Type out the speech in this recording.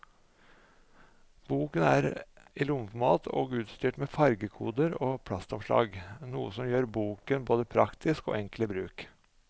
Boken er i lommeformat og utstyrt med fargekoder og plastomslag, noe som gjør boken både praktisk og enkel i bruk.